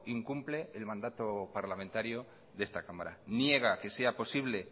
incumple el mandato parlamentario de esta cámara niega que sea posible